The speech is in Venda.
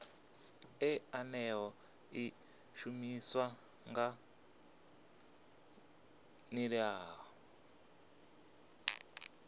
ḽeneḽo ḽi shumiswa nga nḓilaḓe